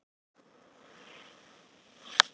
Anney, slökktu á þessu eftir sextíu og fjórar mínútur.